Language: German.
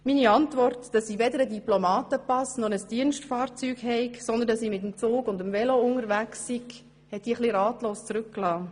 Meine Antwort, dass ich weder einen Diplomatenpass noch ein Dienstfahrzeug hätte, sondern mit Zug und Velo unterwegs sei, hat die Gäste etwas ratlos zurückgelassen;